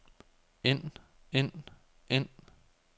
ind ind ind